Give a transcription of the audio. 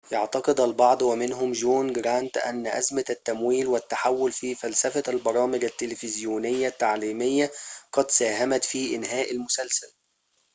يعتقد البعض ومنهم جون جرانت أن أزمة التمويل والتحول في فلسفة البرامج التلفزيونية التعليمية قد ساهمت في إنهاء المسلسل